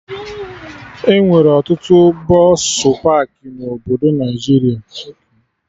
Enwere ọtụtụ bọsụ pakị na obodo Naijiria